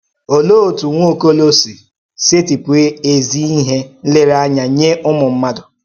Òlee òtú Nwaọ́kò̩ló̩ sì sètịpù ézí íhè nlérèányà nye Ụ́mụ̀mmádụ?